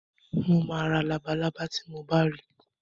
Mo ma ra labalábá tí mo bá ri